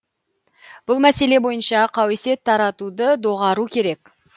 бұл мәселе бойынша қауесет таратуды доғару керек